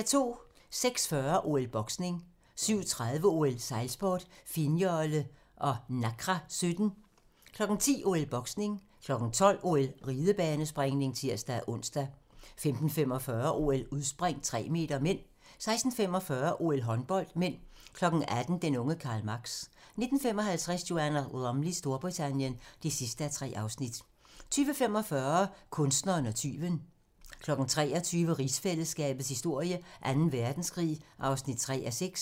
06:40: OL: Boksning 07:30: OL: Sejlsport - finnjolle og Nacra 17 10:00: OL: Boksning 12:00: OL: Ridebanespringning (tir-ons) 15:45: OL: Udspring - 3 m (m) 16:45: OL: Håndbold (m) 18:00: Den unge Karl Marx 19:55: Joanna Lumleys Storbritannien (3:3) 20:45: Kunstneren og tyven 23:00: Rigsfællesskabets historie: Anden Verdenskrig (3:6)